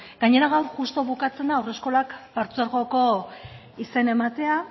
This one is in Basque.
gainera gaur justu bukatzen da haurreskolak partzuergoko izena ematea